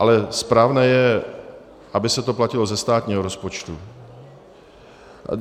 Ale správné je, aby se to platilo ze státního rozpočtu.